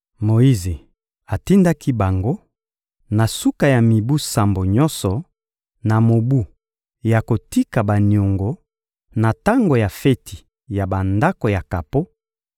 Moyize atindaki bango: «Na suka ya mibu sambo nyonso, na mobu ya kotika baniongo, na tango ya feti ya Bandako ya kapo,